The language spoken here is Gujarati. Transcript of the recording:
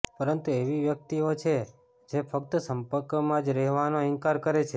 પરંતુ એવી વ્યક્તિઓ છે જે ફક્ત સંપર્કમાં જ રહેવાનો ઇનકાર કરે છે